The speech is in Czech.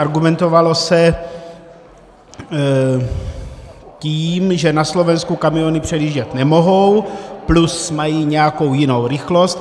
Argumentovalo se tím, že na Slovensku kamiony předjíždět nemohou, plus mají nějakou jinou rychlost.